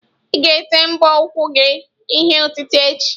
Ị ga-ete mbọ ụkwụ gị ihe otite echi?